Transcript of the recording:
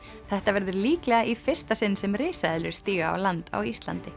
þetta verður líklega í fyrsta sinn sem risaeðlur stíga á land á Íslandi